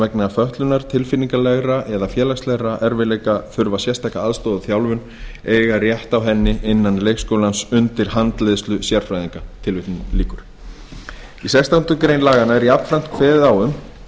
vegna fötlunar tilfinningalegra eða félagslegra erfiðleika þurfa sérstaka aðstoð og þjálfun eiga rétt á henni innan leikskólans undir handleiðslu sérfræðinga í sextándu grein laganna er jafnframt kveðið á um